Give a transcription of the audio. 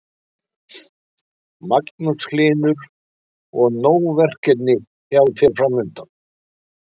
Magnús Hlynur: Og nóg verkefni hjá þér framundan?